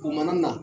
U mana na